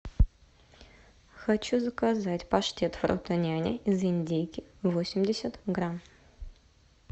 хочу заказать паштет фрутоняня из индейки восемьдесят грамм